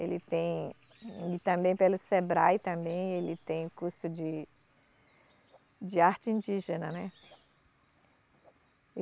Ele tem, ele também pelo Sebrae também, ele tem curso de, de arte indígena, né?